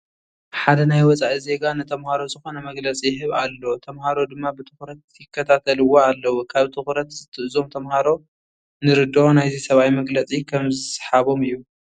ሓደ ናይ ወፃኢ ዜጋ ንተመሃሮ ዝኾነ መግለፂ ይህብ ኣሎ፡፡ ተመሃሮ ድማ ብትኹረት ይከታተልዎ ኣለዉ፡፡ ካብ ትኹርነት እዞም ተመሃሮ ንርድኦ ናይዚ ሰብኣይ መግለፂ ከምዝሰሓቦም እዩ፡፡